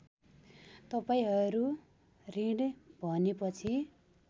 तपाईँहरू ऋण भनेपछि